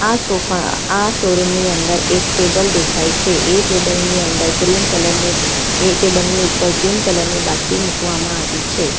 આ સોફા આ શોરૂમ ની અંદર એક ટેબલ દેખાય છે એ ટેબલ ની અંદર એ ટેબલ ની ઉપર ગ્રીન કલર ની બાટલી મુકવામાં આવી છે.